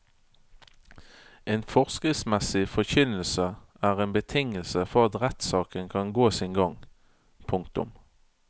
En forskriftsmessig forkynnelse er en betingelse for at rettssaken kan gå sin gang. punktum